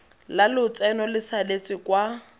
la lotseno le saletse kwa